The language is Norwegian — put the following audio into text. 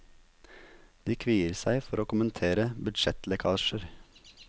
De kvier seg for å kommentere budsjettlekkasjer.